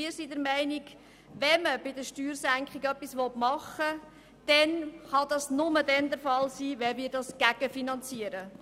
Wir sind der Meinung, dass wenn man etwas in Sachen Steuersenkung machen will, dies nur der Fall sein kann, wenn wir dies gegenfinanzieren.